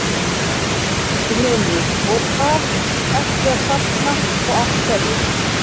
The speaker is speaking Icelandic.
Magnús Hlynur: Og hvað ertu að safna og af hverju?